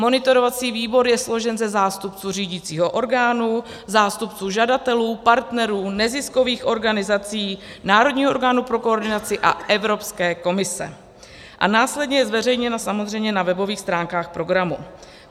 Monitorovací výbor je složen ze zástupců řídicího orgánu, zástupců žadatelů, partnerů, neziskových organizací, národního orgánu pro koordinaci a Evropské komise a následně je zveřejněna samozřejmě na webových stránkách programu.